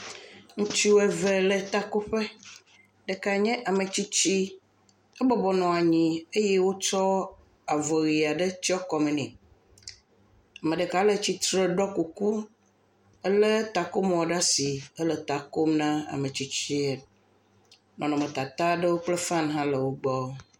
Ŋutsu eve le takoƒe ɖeka nye ametsisti, ebɔbɔnɔ anyi eye wotsɔ avɔ ʋi aɖe tsyɔ̃ kɔme nɛ, ame ɖeka le tsitre ɖɔ kuku elé takomɔ ɖe asi hele ta kom na ametsitsie nɔnɔmetata kple fani hã le wo gbɔ.